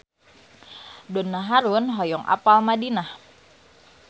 Donna Harun hoyong apal Madinah